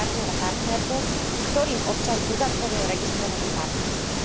partnera partnerku, s ktorým občan uzatvoril registrované partnerstvo.